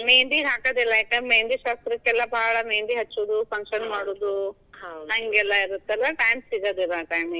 ಮೇಹಂದಿ ಹಾಕದಿಲ್ಲ, ಯಾಕ ಮೆಹಂದಿ ಶಾಸ್ತ್ರಕ್ಕೆಲ್ಲ ಬಾಳ ಮೆಹಂದಿ ಹಚ್ಚೋದು function ಮಾಡೋದು ಇರುತ್ತಲ್ಲ time ಸಿಗೋದಿಲ್ಲಾ .